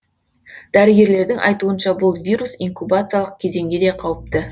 дәрігерлердің айтуынша бұл вирус инкубациялық кезеңде де қауіпті